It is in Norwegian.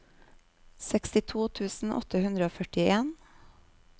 sekstito tusen åtte hundre og førtien